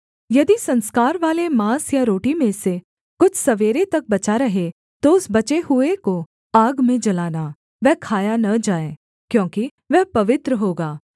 यदि संस्कारवाले माँस या रोटी में से कुछ सवेरे तक बचा रहे तो उस बचे हुए को आग में जलाना वह खाया न जाए क्योंकि वह पवित्र होगा